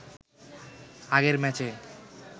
আগের ম্যাচে